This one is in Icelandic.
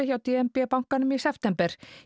hjá d n b bankanum í september